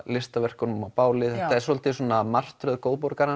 listaverkunum á bálið þetta er svolítið svona martröð